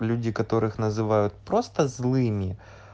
люди которых называют просто злыми